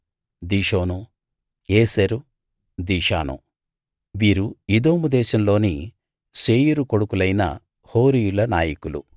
దిషోను ఏసెరు దీషాను వీరు ఎదోము దేశంలోని శేయీరు కొడుకులైన హోరీయుల నాయకులు